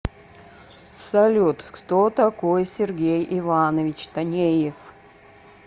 салют кто такой сергей иванович танеев